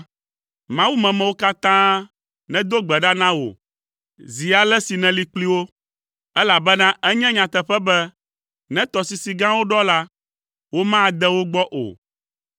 Mawumemewo katã nedo gbe ɖa na wò zi ale si nèli kpli wo, elabena enye nyateƒe be ne tɔsisi gãwo ɖɔ la, womade wo gbɔ o.